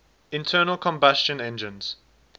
internal combustion engines